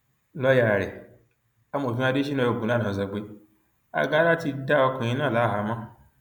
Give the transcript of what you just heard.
lọọyà rẹ amọfin adésínà ogunlànà sọ pé agara ti dá ọkùnrin náà láhàámọ